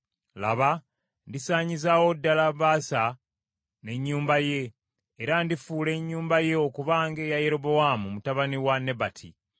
Laba, ndisaanyizaawo ddala Baasa n’ennyumba ye, era ndifuula ennyumba ye okuba ng’eya Yerobowaamu mutabani wa Nebati.